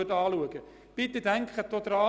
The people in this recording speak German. Bitte denken Sie daran: